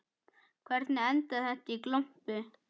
Hvernig endaði þetta í glompu?